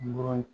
Bagan